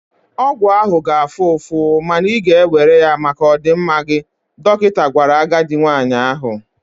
Ọgwụ ahụ ga-afụ ụfụ, ma ị ga-ewere ya maka ọdịmma gị, dọkịta gwara agadi nwanyị ahụ.